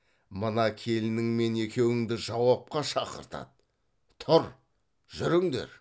мына келініңмен екеуіңді жауапқа шақыртады тұр жүріңдер